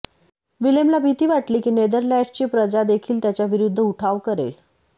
विलेमला भीती वाटली की नेदरलँड्सची प्रजा देखील त्याच्या विरुद्ध उठाव करेल